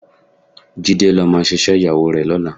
Jídé ló máa ṣiṣẹ́ ìyàwó rẹ̀ lọ́la